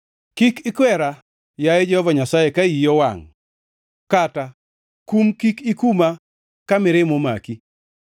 Kik ikwera, yaye Jehova Nyasaye, ka iyi owangʼ kata kum kik ikuma ka mirima omaki.